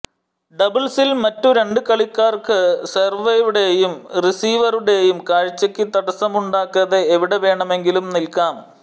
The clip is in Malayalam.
ഡബിൾസിൽ മറ്റു രണ്ടു കളിക്കാർക്ക് സെർവറുടെയും റിസീവറുടെയും കാഴ്ചയ്ക്ക് തടസ്സമുണ്ടാക്കാതെ എവിടെ വേണമെങ്കിലും നിൽക്കാം